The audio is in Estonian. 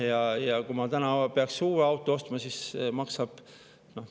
Ja kui ma täna peaks uue auto ostma, siis maksab …